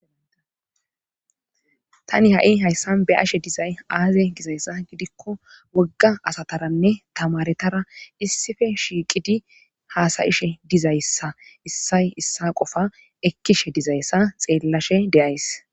Tani ha7i hayssan be ashe dizay aaze gizayssa gidikko wogga asataranne tamaretara issife shiiqidi haasayishe dizayssa issay issa qofa ekkishe dizayssa xeellashe deyays